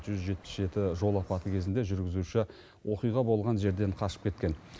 жүз жетпіс жеті жол апаты кезінде жүргізуші оқиға болған жерден қашып кеткен